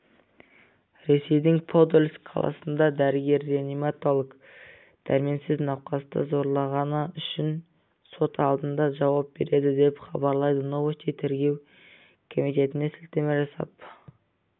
ресейдің подольск қаласында дәрігер-реаниматолог дәрменсіз науқасты зорлағаны үшін сот алдында жауап береді деп хабарлайды новости тергеу комитетіне сілтеме жасап